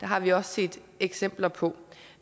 har vi også set eksempler på